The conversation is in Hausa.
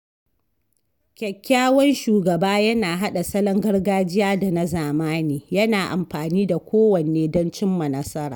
Kyakkyawan shugaba yana haɗa salon gargajiya da na zamani, yana amfani da kowanne don cimma nasara.